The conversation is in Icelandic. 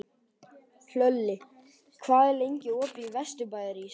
Hlölli, hvað er lengi opið í Vesturbæjarís?